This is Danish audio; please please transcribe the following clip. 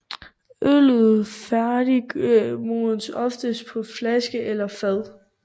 Øllet færdigmodnes oftest på flaske eller fad